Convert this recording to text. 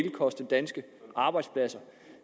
koste danske arbejdspladser